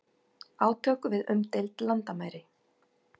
Átök við umdeild landamæri